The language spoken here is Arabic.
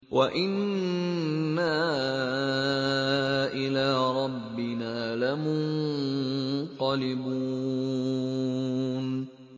وَإِنَّا إِلَىٰ رَبِّنَا لَمُنقَلِبُونَ